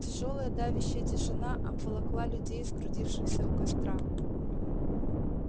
тяжёлая давящая тишина обволокла людей сгрудившихся у костра